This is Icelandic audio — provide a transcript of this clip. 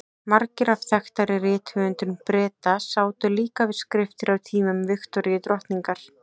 Margir af þekktari rithöfundum Breta sátu líka við skriftir á tímum Viktoríu drottningar.